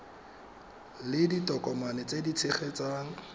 le ditokomane tse di tshegetsang